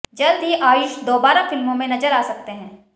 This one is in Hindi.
जल्द ही आयुष दोबारा फिल्मों में नजर आ सकते हैँ